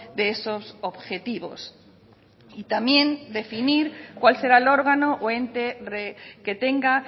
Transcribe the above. de esos objetivos y también decidir cuál será el órgano o ente que tenga